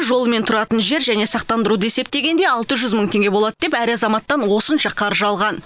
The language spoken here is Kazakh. жолы мен тұратын жер және сақтандыруды есептегенде алты жүз мың теңге болады деп әр азаматтан осынша қаржы алған